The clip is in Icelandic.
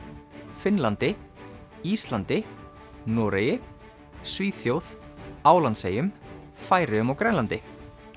Finnlandi Íslandi Noregi Svíþjóð Álandseyjum Færeyjum og Grænlandi